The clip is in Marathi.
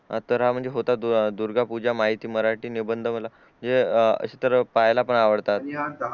तर हा म्हणजे होता दुर्गा पूजा माहिती मराठी निबंध म्हणजे अशे तर पाहायला पण आवडता